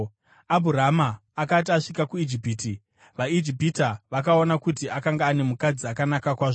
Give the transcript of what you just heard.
Abhurama akati asvika kuIjipiti, vaIjipita vakaona kuti akanga ane mukadzi akanaka kwazvo.